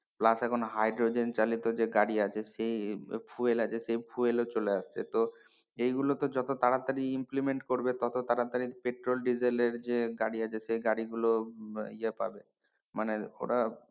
plus এখন hydrogen চালিত যে গাড়ি আছে সে fuel আছে সে fuel ও চলে আসছে তো এগুলোকে যত তাড়াতাড়ি implement করবে তত তাড়াতাড়ি পেট্রোল ডিজেলের যে গাড়ি আছে সে গাড়িগুলো ইয়ে পাবে মানে ওরা,